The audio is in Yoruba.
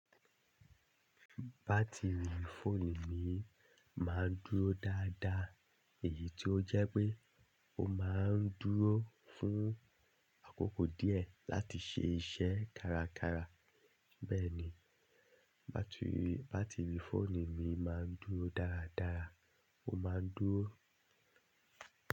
Batiri fóònù mi máa ń dúró dáadáa èyí tó jẹ́ pé ó máa ń dúró fún àkókò díẹ̀ láti ṣe iṣẹ́ kárakára. Bẹ́ẹ̀ ni, bátìrì fóònù mi máa ń dúró dáradára, ó máa ń dúró.